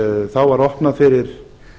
þá var opnað fyrir